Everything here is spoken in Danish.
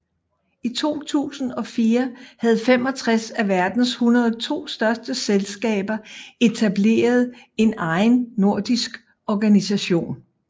I 2004 havde 65 af verdens 102 største selskaber etableret en egen nordisk organisation